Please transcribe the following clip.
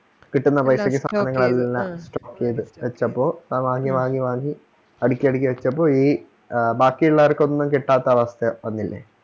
കിട്ടുന്ന പൈസക്ക് സാധനങ്ങളെല്ലാം വെച്ചപ്പോ അത് വാങ്ങി വാങ്ങി വാങ്ങി അടിക്കി അടിക്കി വെച്ചപ്പോ ഈ ബാക്കിയെല്ലാർക്കും ഒന്നും കിട്ടാത്ത അവസ്ഥ വന്നില്ലേ